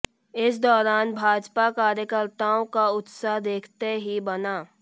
इस दौरान भाजपा कार्यकर्ताओं का उत्साह देखते ही बना